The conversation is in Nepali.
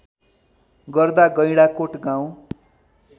गर्दा गैंडाकोट गाउँ